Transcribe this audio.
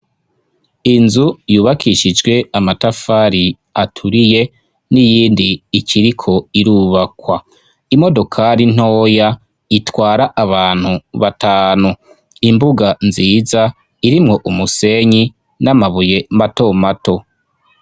Inzu yubakishijwe amatafari aturiye n'iyindi ikiriko irubakwa imodokali ntoya itwara abantu batanu imbuga nziza irimwo umusenyi n'amabuye mato mato.